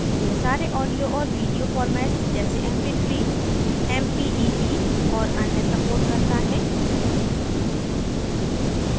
यह सारे audio और video formats जैसे mp3 mpeg और अन्य supports करता है